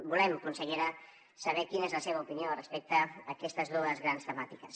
volem consellera saber quina és la seva opinió respecte aquestes dues grans temàtiques